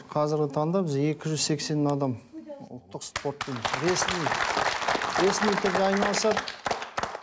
қазіргі таңда бізде екі жүз сексен адам ұлттық спортпен ресми ресми түрде айналысады